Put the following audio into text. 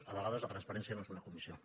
a vegades la transparència no és una comissió